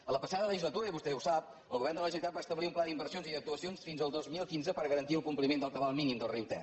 en la passada legislatura i vostè ho sap el govern de la generalitat va establir un pla d’inversions i d’actuacions fins al dos mil quinze per garantir el compliment del cabal mínim del riu ter